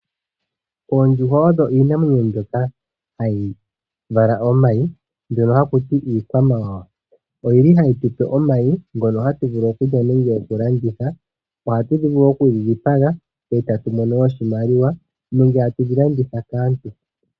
Oondjuhwa odho iinamwenyo mbyoka hayi vala omayi, mbyono haku ti iikwamawawa. Oyi li hayi tupe omayi ngono hatu vulu okulya nenge okulanditha. Ohatu vulu wo okudhi dhipaga etatu mono mo oshimaliwa nenge tatu dhi landitha kaantu.